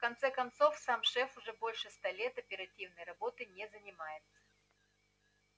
в конце концов сам шеф уже больше ста лет оперативной работой не занимается